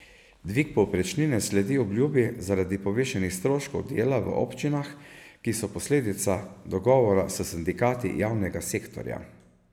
Dvig povprečnine sledi obljubi zaradi povišanih stroškov dela v občinah, ki so posledica dogovora s sindikati javnega sektorja.